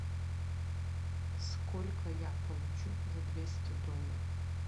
сколько я получу за двести долларов